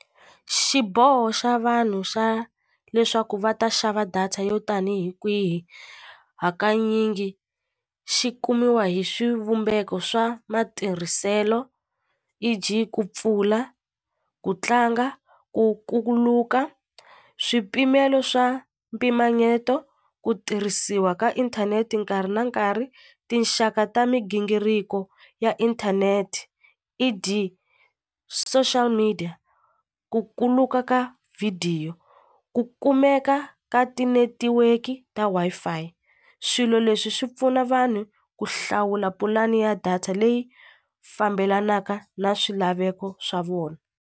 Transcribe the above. Xiboho xa vanhu xa leswaku va ta xava data yo tanihi kwihi hakanyingi xi kumiwa hi swivumbeko swa matirhiselo E_G ku pfula ku tlanga ku kuluka swipimelo swa mpimanyeto ku tirhisiwa ka inthanete nkarhi na nkarhi tinxaka ta migingiriko ya inthanete E_D social media ku kuluka ka vhidiyo ku kumeka ka ti-netiweki ta Wi-Fi swilo leswi swi pfuna vanhu ku hlawula pulani ya data leyi fambelanaka na swilaveko swa vona,